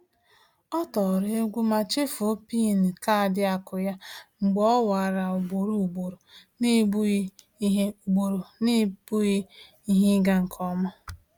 Ọ tọrọ egwu ma chefuo PIN kaadị akụ ya mgbe o nwara ugboro ugboro n’ebughị ihe ugboro n’ebughị ihe ịga nke ọma.